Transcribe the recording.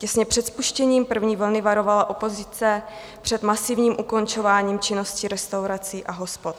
Těsně před spuštěním první vlny varovala opozice před masivním ukončováním činnosti restaurací a hospod.